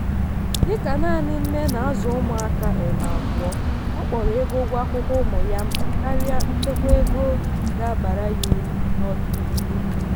dịka nanị nne na-azụ ụmụaka um abụọ ọ kpọrọ ego ụgwọ akwụkwọ ụmụ ya mkpa karịa nchekwa ego ga abara ya uru n'ọdịnihu.